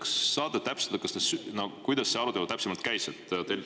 Kas saate täpsustada, kuidas see arutelu täpsemalt käis?